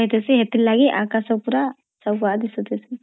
ଏଥିଲାଗି ଆକାଶ ପୁରା ସଫା ଦିସୁଥାଏ